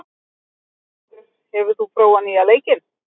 Geirhvatur, hefur þú prófað nýja leikinn?